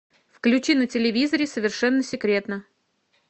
включи на телевизоре совершенно секретно